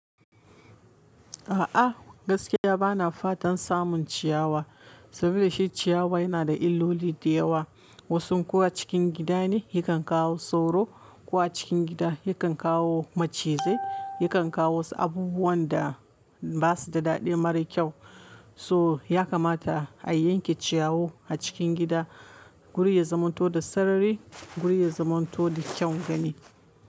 A'a gaskiya bana fatan samun ciyawa, saboda shi ciyawa yana da illoli da yawa. Wasun kuwa cikin gida ne yakan kawo sauro, ko a cikin gida yakan kawo macizai, yakan kawo wasu abubuwan da ba su da daɗi mara kyau. So ya kamata a yanke ciyawu a cikin gida, guri ya zamanto da sarari, guri ya zamanto da kyaun gani.